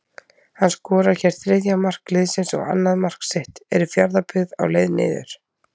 HANN SKORAR HÉR ÞRIÐJA MARK LIÐSINS OG ANNAÐ MARK SITT, ERU FJARÐABYGGÐ Á LEIÐ NIÐUR???